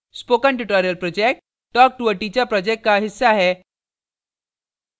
spoken tutorial project talktoa teacher project का हिस्सा है